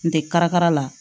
N tɛ karikara la